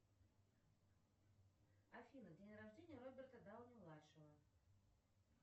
афина день рождения роберта дауни младшего